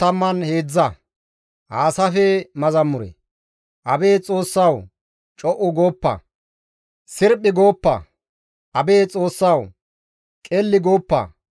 Abeet Xoossawu! Co7u gooppa! sirphi gooppa! Abeet Xoossawu! qelli gooppa!